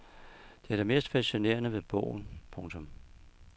Det er det mest fascinerende ved bogen. punktum